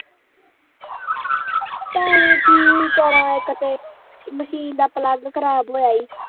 ਭੈਣੇ ਕੀ ਕਰਾ ਇਕ ਤਾਂ ਮਸ਼ੀਨ ਦਾ ਪਲੱਗ ਖਰਾਬ ਹੋਇਆ ਈ